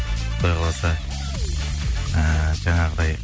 құдай қаласа ііі жаңағыдай